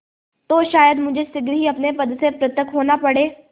तो शायद मुझे शीघ्र ही अपने पद से पृथक होना पड़े